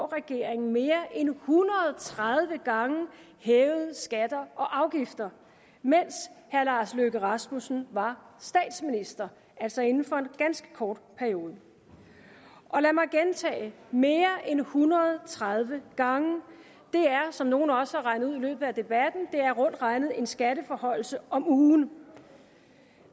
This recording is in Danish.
regeringen mere end en hundrede og tredive gange hævede skatter og afgifter mens herre lars løkke rasmussen var statsminister altså inden for en ganske kort periode og lad mig gentage mere end en hundrede og tredive gange det er som nogle også har regnet ud i løbet af debatten rundt regnet en skatteforhøjelse om ugen